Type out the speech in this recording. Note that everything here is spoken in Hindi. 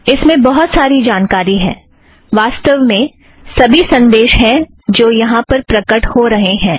इस में बहुत सारी जानकारी है वास्तव में सभी संदेश हैं जो यहाँ पर प्रकट हो रहें हैं